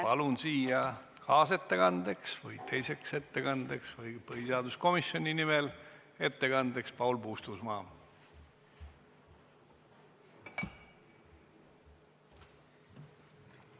Palun kaasettekandeks või teiseks ettekandeks või ettekandeks põhiseaduskomisjoni nimel kõnepulti Paul Puustusmaa!